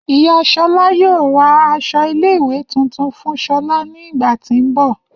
Iya Shola yoo ra aṣọ ile-iwe tuntun fun shola ni igba ti n bọ.